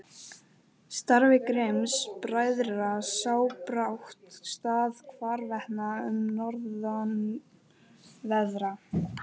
Starfi Grimms-bræðra sá brátt stað hvarvetna um norðanverða